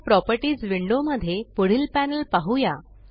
चला properties window मध्ये पुढील पॅनल पहुया